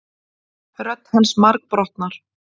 Rödd hans margbrotnar.